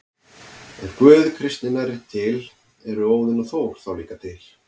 Ef Guð kristninnar er til, eru Óðinn og Þór þá líka til?